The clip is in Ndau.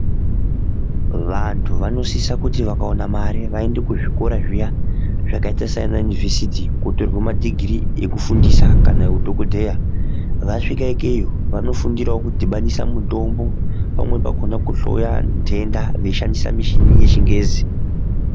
Vantu vanosisa kuti vakaona mari vaende kuzvikora zviya zvakaita seana univhesiti kuonotorwa ma dhigirii ekufundisa kana eudhokodheya .Vasvika ikeyo vanofundirawo kudhibanisa mitombo, pamweni pacho kuhloya ndhenda vachishandisa michini yechingezi.